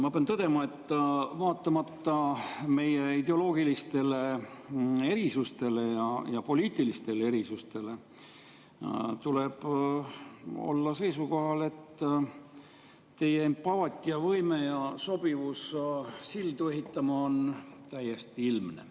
Ma pean tõdema, et vaatamata meie ideoloogilistele ja poliitilistele tuleb olla seisukohal, et teie empaatiavõime ja sobivus sildade ehitamiseks on täiesti ilmne.